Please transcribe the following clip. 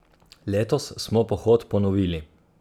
Letos smo pohod ponovili.